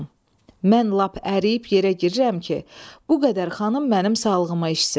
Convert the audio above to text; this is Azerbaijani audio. Mən lap əriyib yerə girirəm ki, bu qədər xanım mənim sağlığıma içsin.